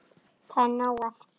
Það er nóg eftir.